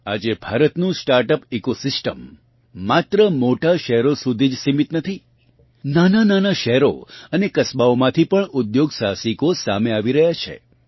આજે ભારતનું startup ecosystem માત્ર મોટાં શહેરો સુધી જ સીમિત નથી નાનાંનાનાં શહેરો અને કસ્બાઓમાંથી પણ ઉદ્યોગ સાહસિકો સામે આવી રહ્યાં છે